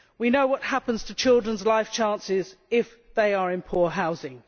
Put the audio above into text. We know what happens to children's life chances if they are in poor housing.